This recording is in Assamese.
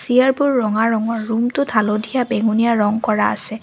চিয়াৰবোৰ ৰঙা ৰঙৰ ৰুমটোত হালধীয়া বেঙুনীয়া ৰং কৰা আছে।